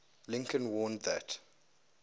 lincoln warned that